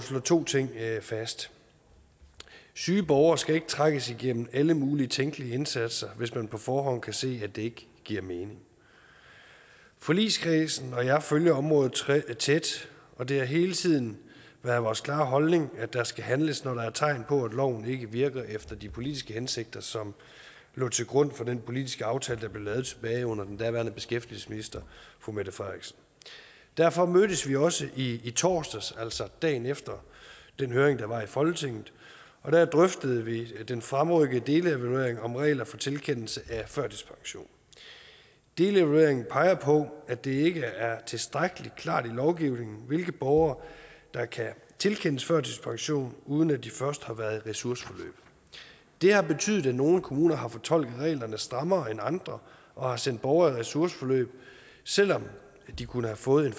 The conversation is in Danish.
to ting fast syge borgere skal ikke trækkes igennem alle mulige tænkelige indsatser hvis man på forhånd kan se at det ikke giver mening forligskredsen og jeg følger området tæt og det har hele tiden været vores klare holdning at der skal handles når der er tegn på at loven ikke virker efter de politiske hensigter som lå til grund for den politiske aftale der blev lavet tilbage under den daværende beskæftigelsesminister fru mette frederiksen derfor mødtes vi også i torsdags altså dagen efter den høring der var i folketinget og der drøftede vi den fremrykkede delevaluering om regler for tilkendelse af førtidspension delevalueringen peger på at det ikke er tilstrækkelig klart i lovgivningen hvilke borgere der kan tilkendes førtidspension uden at de først har været i ressourceforløb det har betydet at nogle kommuner har fortolket reglerne strammere end andre og har sendt borgere i ressourceforløb selv om de kunne have fået en